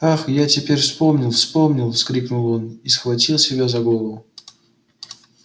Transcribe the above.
ах я теперь вспомнил вспомнил вскрикнул он и схватил себя за голову